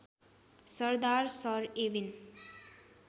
सरदार सर एविन